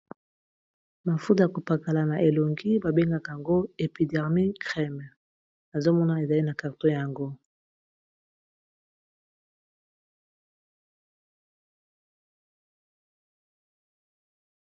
Mafuta ya kopakala na elongi babengaka yango epidermie creme nazomona ezali na carton yango.